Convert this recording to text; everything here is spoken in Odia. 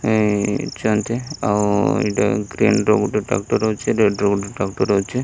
ଏ ଚନ୍ତି ଆଉ ଏଇଟା ଗ୍ରୀନ ର ଗୋଟେ ଟ୍ରାକ୍ଟର ଅଛି ରେଡ୍ ର ଗୋଟେ ଟ୍ରାକ୍ଟର ଅଛି।